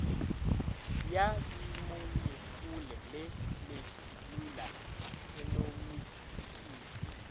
ya dimolekule le selula tšenomikisi